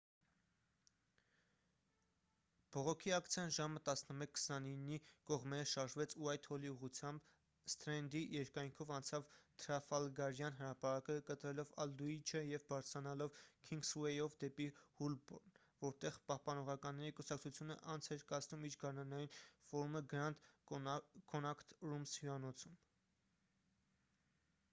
բողոքի ակցիան ժամը 11:29-ի կողմերը շարժվեց ուայթհոլի ուղղությամբ սթրենդի երկայնքով անցավ թրաֆալգարյան հրապարակը՝ կտրելով ալդուիչը և բարձրանալով քինգսուեյով դեպի հոլբորն որտեղ պահպանողականների կուսակցությունը անց էր կացնում իր գարնանային ֆորումը grand connaught rooms հյուրանոցում: